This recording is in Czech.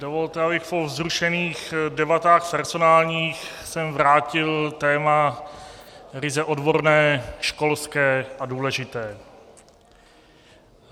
Dovolte, abych po vzrušených debatách personálních sem vrátil téma ryze odborné, školské a důležité.